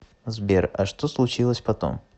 сбер а что случилось потом